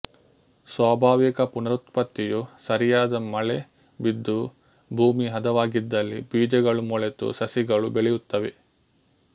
ಸ್ವಾಭಾವಿಕ ಪುನರುತ್ಪತ್ತಿಯು ಸರಿಯಾದ ಮಳೆ ಬಿದ್ದು ಭೂಮಿ ಹದವಾಗಿದ್ದಲ್ಲಿಬೀಜಗಳು ಮೊಳೆತು ಸಸಿಗಳು ಬೆಳೆಯುತ್ತವೆ